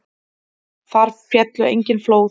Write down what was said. Þar féllu engin flóð.